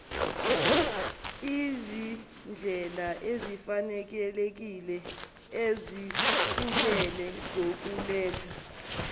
izindlelaezifanelekile ezixubile zokuletha